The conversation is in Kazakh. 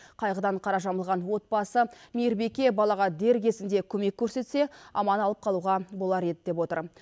қайғыдан қара жамылған отбасы мейірбике балаға дер кезінде көмек көрсетсе аман алып қалуға болар еді деп отыр